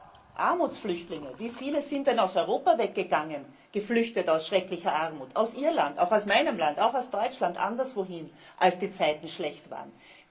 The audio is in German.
Aber Armutsflüchtlinge wie viele sind denn aus Europa weggegangen, vor schrecklicher Armut aus Irland, auch aus meinem Land, auch aus Deutschland anderswohin geflüchtet, als die Zeiten schlecht waren?